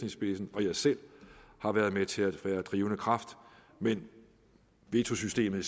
i spidsen og jeg selv har været med til at være drivende kraft men veto systemet i